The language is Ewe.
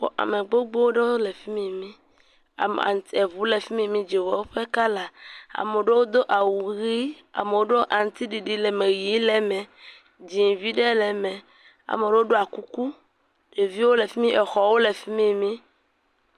Ame gbogbp ɖewo le fi mi mi, ame, eŋu le fi mi, dzowɔ ƒe kala, ame ɖewo do awu ʋɛ̃, amewo ɖɔ aŋutiɖiɖi, ʋɛ̃ le me, dzɛ̃e vi ɖe le me, ame ɖewo ɖɔ kuku, ɖevi wo le fi mi, exɔwo le fi mi mi.